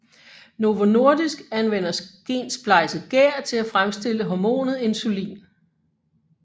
Novo Nordisk anvender gensplejset gær til at fremstille hormonet insulin